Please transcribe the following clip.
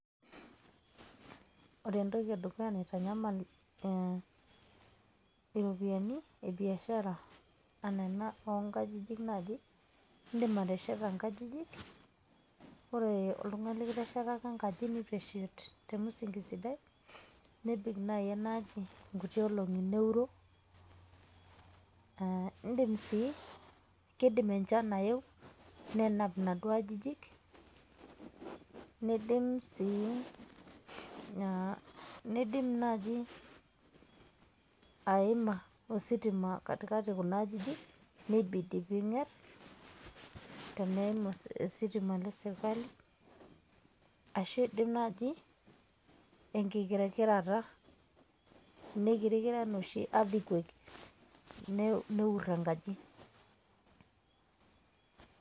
Ore entoki edukuya naitanyamal iropiyiani ebiashara, ana ena onkajijik naje, idim atesheta inkajijik, ore oltung'ani likiteshetaka nkaji neutu eshet temusinki sidai, nebik naji enaaji nkuti olong'i neuro. Ah idim si kidim enchan aeu nenap naduo ajijik, neidim si nidim naaji ositima aima katikati kunajijik, nebidi ping'er, teneim ositima lesirkali, ashu idim naji enkikirikireta, nikirikira enoshi earthquake neur enkaji.